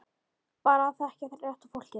Bara að þekkja rétta fólkið.